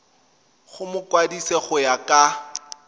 go mokwadise go ya ka